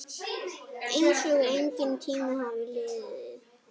Einsog enginn tími hafi liðið.